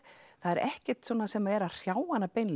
það er ekkert sem er að hrjá hana